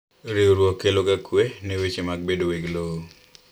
Riwruok keloga kwee ne weche mag bedo weg lowo.